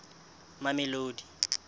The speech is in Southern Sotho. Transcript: mamelodi